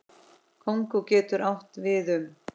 Kongó getur átt við um